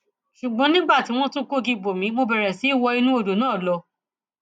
ṣùgbọn nígbà tí wọn tún kógi bò mí mo bẹrẹ sí í wọ inú odò náà lọ